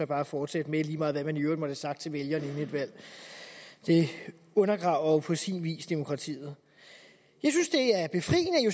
bare fortsætte med lige meget hvad man i øvrigt måtte have sagt til vælgerne inden et valg det undergraver jo på sin vis demokratiet jeg